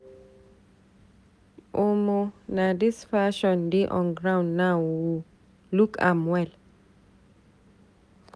Omo na dis fashion dey on board now o, look am well.